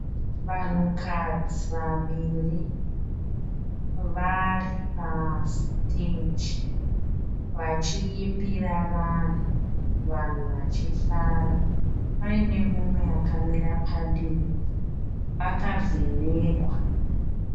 Vanhukadzi vaviri vari pa stage, vachiimbira vanhu . Vanhu vachifara Paine mhomho yakamira padivi , yakavhenekwa.